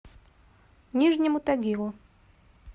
нижнему тагилу